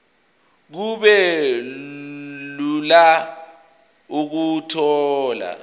kube lula ukuthola